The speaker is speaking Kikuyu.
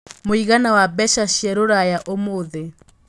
mũigana wa mbeca cia rũraya ũmũthi